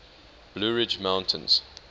blue ridge mountains